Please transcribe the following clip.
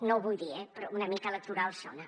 no ho vull dir eh però una mica electoral sona